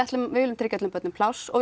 viljum tryggja öllum börnum pláss og